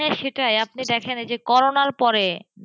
হ্যাঁসেটাই আপনি দেখেন এইযে করোনার পরে,